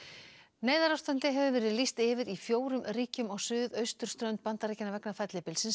neyðarástandi hefur verið lýst yfir í fjórum ríkjum á suðausturströnd Bandaríkjanna vegna fellibylsins